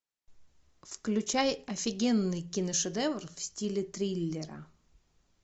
включай офигенный киношедевр в стиле триллера